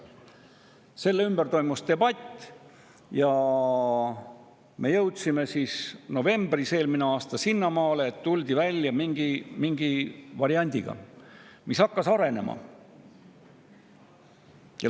Selle üle toimus debatt ja me jõudsime eelmise aasta novembris sinnamaale, et tuldi välja mingi variandiga, mis hakkas arenema.